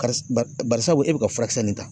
Karis bar bari sabu e be ka furakisɛ nin ta.